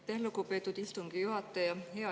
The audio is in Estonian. Aitäh, lugupeetud istungi juhataja!